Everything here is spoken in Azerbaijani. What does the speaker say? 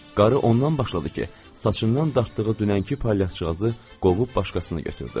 Qarı ondan başladı ki, saçından dartdığı dünənki palyaqçığazı qovub başqasını götürdü.